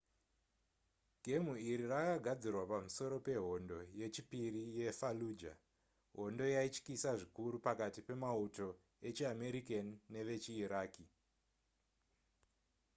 gemu iri rakagadzirwa pamusoro pehondo yechipiri yefallujah hondo yaityisa zvikuru pakati pemauto echiamerican nevechiiraqi